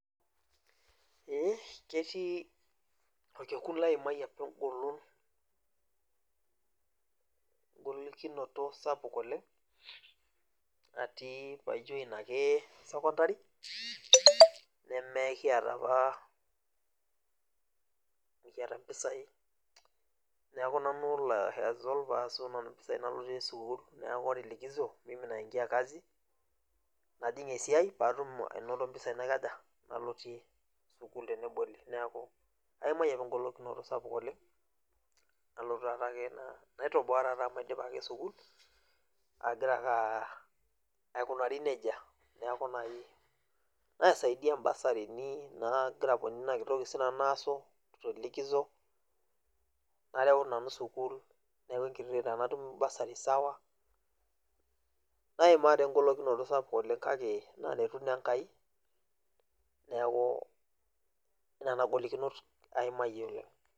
Ee ketii orkekun laimayie apa egolon, egolikinoto sapuk oleng atii pai join ake sokondari, nemekiata apa mikiata mpisai, neeku nanu olo ai hustle paasu nanu mpisai nalotie sukuul, neeku ore likizo, mimi naingia kazi, najing esiai patum anoto mpisai naikaja, nalotie sukuul teneboli. Neeku aimayie apa egolikinoto sapuk oleng, nalotu tatake nai toboa tata omaidipa ake sukuul, agira ake aikunari nejia. Neeku nai naisaidia ibasarini naa agira aponie inakiti toki sinanu naasu to likizo, naareu nanu sukuul, neeku enkiti toki tenatum bursary sawa, naimaa taa egolikinoto sapuk oleng kake naretu naa Enkai, neeku nena golikinot aimayie oleng.